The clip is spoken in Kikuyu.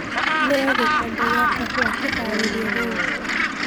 neo gĩkombe gĩa kahũa kĩharĩrĩe rĩũ